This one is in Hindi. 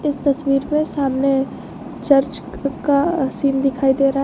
इस तस्वीर में सामने चर्च का सीन दिखाई दे रहा है।